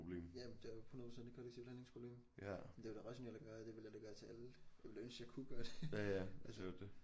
Ja men det er jo 100% et kollektivt handlingsproblem men det er det rationelle at gøre det er vel at tage alle jeg ville ønske jeg kunne gøre det altså